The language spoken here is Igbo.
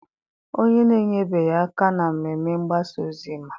onye na-enyebeghị aka na mmemme mgbasa ozi ma